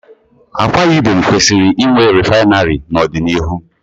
Akwa Ibom kwesịrị inwe rịfinarị n'ọdịnihu.